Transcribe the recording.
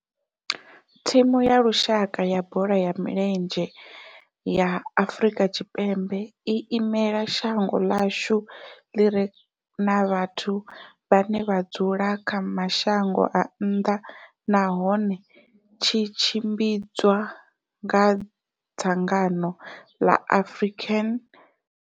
Thimu ya lushaka ya bola ya milenzhe ya Afrika Tshipembe i imela shango ḽa hashu ḽi re na vhathu vhane vha dzula kha mashango a nnḓa nahone tshi tshimbidzwa nga dzangano la African.